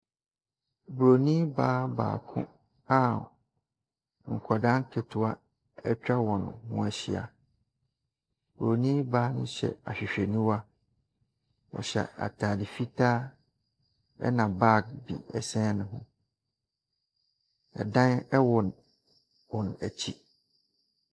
Buroni baa baako a nkwadaa nketewa atwa wɔn ho ahyia Buroni baa no hyɛ ahwehwɛniwa. Ɔhyɛ ataade fitaa na bag bi sɛn ne ho. Ɛdan wɔ wɔn akyi.